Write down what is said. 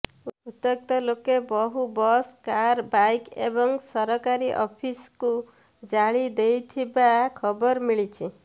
ଉତ୍ତ୍ୟକ୍ତ ଲୋକେ ବହୁ ବସ୍ କାର ବାଇକ୍ ଏବଂ ସରକାରୀ ଅଫିସକୁ ଜାଳି ଦେଇଥିବା ଖବର ମିଳିଛି